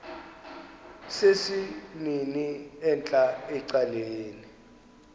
sesimnini entla ecaleni